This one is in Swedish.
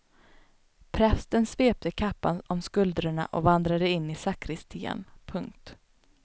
Prästen svepte kappan om skuldrorna och vandrade in i sakristian. punkt